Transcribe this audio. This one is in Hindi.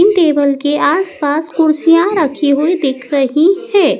इन टेबल के आसपास कुर्सियां रखी हुई दिख रही हैं।